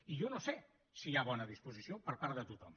i jo no sé si hi ha bona disposició per part de tothom